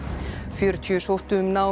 fjörutíu sóttu um nám